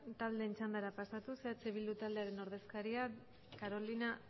taldeen txandara pasatuz eh bildu taldearen ordezkariak carolina